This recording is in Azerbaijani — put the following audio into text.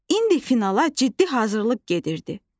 İndi finala ciddi hazırlıq gedirdi.